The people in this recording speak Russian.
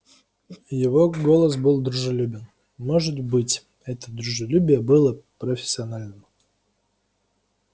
его голос был дружелюбным может быть это дружелюбие было профессиональным